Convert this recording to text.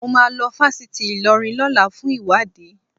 Mo máa lọ fásitì Ìlọrin lọ́la fún ìwádìí